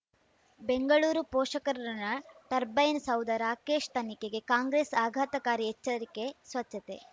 ಬೆಂಗಳೂರು ಪೋಷಕರಋಣ ಟರ್ಬೈನು ಸೌಧ ರಾಕೇಶ್ ತನಿಖೆಗೆ ಕಾಂಗ್ರೆಸ್ ಆಘಾತಕಾರಿ ಎಚ್ಚರಿಕೆ ಸ್ವಚ್ಛತೆ